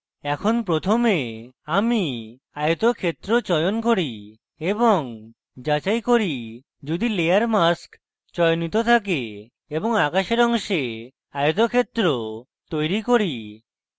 এখন প্রথমে আমি আয়তক্ষেত্র চয়ন করি এবং যাচাই করি যদি layer mask চয়নিত থাকে এবং আকাশের অংশে আয়তক্ষেত্র বানাই